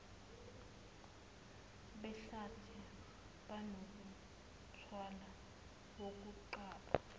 behlathi banomthwalo wokuqapha